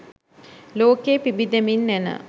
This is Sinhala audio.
ලෝකයේ පිබිදෙමින් එන